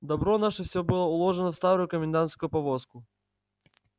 добро наше всё было уложено в старую комендантскую повозку